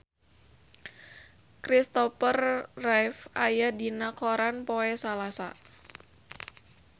Christopher Reeve aya dina koran poe Salasa